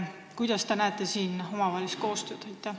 Kuidas te näete siin omavahelist koostööd?